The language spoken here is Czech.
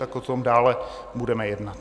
Tak o tom dále budeme jednat.